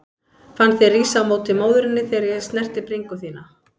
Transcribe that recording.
Fann þig rísa á móti móðurinni þegar ég snerti bringu þína.